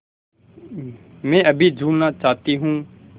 मैं अभी झूलना चाहती हूँ